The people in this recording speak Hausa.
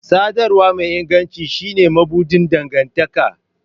Sadarwa mai inganci shine mabuɗin dangantaka